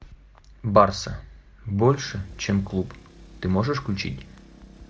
барса больше чем клуб ты можешь включить